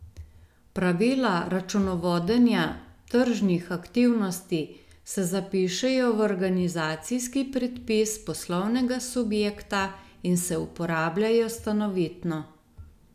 Pravila računovodenja tržnih aktivnosti se zapišejo v organizacijski predpis poslovnega subjekta in se uporabljajo stanovitno.